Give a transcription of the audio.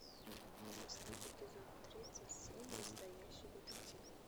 поставь эпизод тридцать семь настоящий детектив